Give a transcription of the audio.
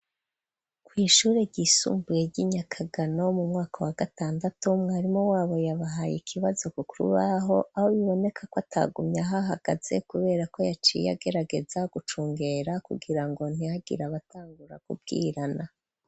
Kw'ishure ryisumbuye ry'i Nyakagano, mu mwaka wa gatandatu, mwarimu wabo yabahaye ikibazo ku rubaho, aho biboneka ko atagumye ahahagaze, kubera ko yaciye agerageza gucungera kugira ngo ntihagira abatangura kubwirana.